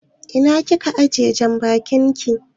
Ina kika ajiye janbakin ki?